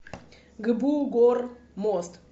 гбу гормост